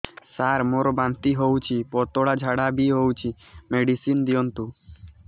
ସାର ମୋର ବାନ୍ତି ହଉଚି ପତଲା ଝାଡା ବି ହଉଚି ମେଡିସିନ ଦିଅନ୍ତୁ